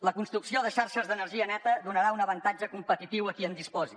la construcció de xarxes d’energia neta donarà un avantatge competitiu a qui en disposi